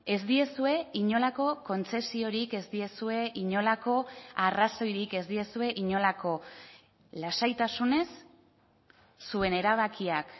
ez diezue inolako kontzesiorik ez diezue inolako arrazoirik ez diezue inolako lasaitasunez zuen erabakiak